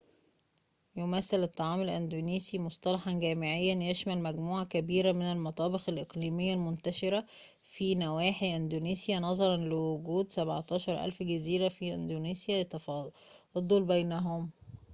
يمثّل الطعام الإندونيسي مصطلحاً جامعاً يشمل مجموعة كبيرة من المطابخ الإقليمية المنتشرة في نواحي إندونيسيا نظراً لوجود 17000 جزيرة في إندونيسيا لتفاضل بينهم